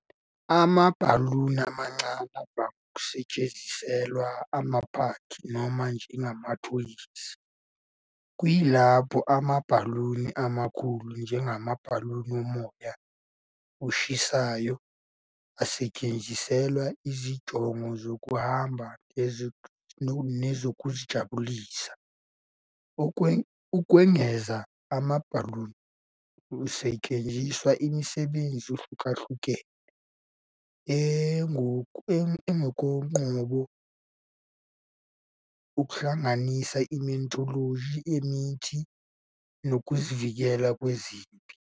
Amabhaluni amancane avame ukusetshenziselwa amaphathi noma njengamathoyizi, kuyilapho amabhaluni amakhulu, njengamabhaluni omoya oshisayo, asetshenziselwa izinjongo zokuhamba nezokuzijabulisa. Ukwengeza, amabhaluni asetshenziswa emisebenzini ehlukahlukene engokoqobo, okuhlanganisa i-meteorology, imithi, nokuzivikela kwezempi.